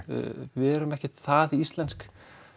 við erum ekkert það íslensk